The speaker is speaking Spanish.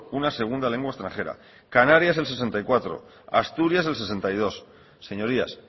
una segunda lengua extranjera canarias el sesenta y cuatro por ciento asturias el sesenta y dos por ciento señorías